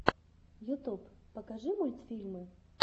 ютюб покажи мультфильмы